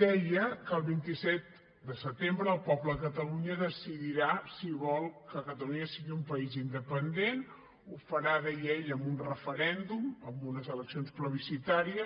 deia que el vint set de setembre el poble de catalunya decidirà si vol que catalunya sigui un país independent ho farà deia ell amb un referèndum amb unes eleccions plebiscitàries